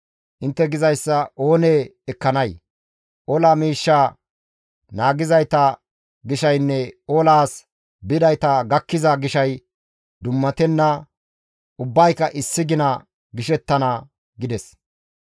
Intte gizayssa oonee ekkanay? Ola miishshaa naagizayta gishaynne olaas bidayta gakkiza gishay dummatenna; ubbayka issi gina gishettana» gides.